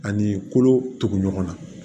Ani kolo tugu ɲɔgɔn na